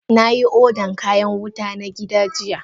Na yi odan kayan wuta na gida jiya.